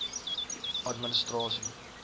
administrasie